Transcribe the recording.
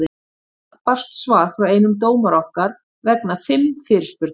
Í dag barst svar frá einum dómara okkar vegna fimm fyrirspurna.